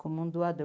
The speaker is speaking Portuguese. como um doador.